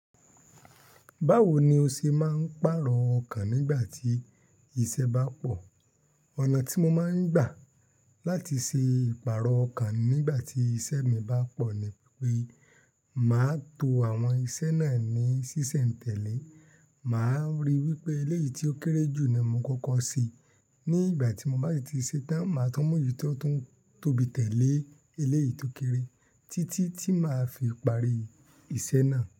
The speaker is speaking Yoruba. Báwo ni o ṣe máa ń pàrọ̀ ọkàn nígbà tí iṣẹ́ bá pọ̀? Ọ̀nà tí mo máa ń gbà láti ṣe ìpààrọ̀ ọkàn mi nígbà tí iṣẹ́ mi bá pọ̀ ni pé máa tó àwọn iṣẹ́ náà ní ṣíṣẹ̀ǹtẹ̀lé. Mà á ríi wípé eléyìí tí ó kéré jù ni mo kọ́kọ́ n ṣe. Leyin ígbà tí mo bá ti ṣe tán, mà á tun mu eyì tó tún tóbi tẹ́lẹ̀, eléyìí tó kéré títí tí màá fi parí iṣẹ́ náà.